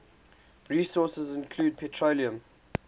resources include petroleum